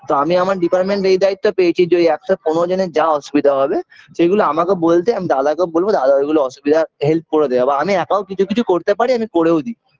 তা আমি আমার department এই দায়িত্ব পেয়েছি যে একশো পনেরো জনের যা অসুবিধা হবে সেইগুলো আমাকে বলতে আমি দাদাকে বলবো দাদা ওইগুলো অসুবিধা help করে দে বা আমিও একা কিছু কিছু করতে পারি আমি করেও দি